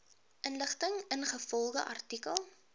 inligting ingevolge artikel